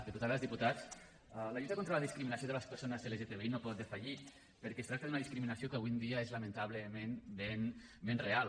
diputades diputats la lluita contra la discriminació de les persones lgtbi no pot defallir perquè es tracta d’una discriminació que avui en dia és lamentablement ben real